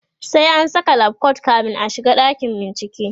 sai an Saka lab coat kamin a shiga dakin bincike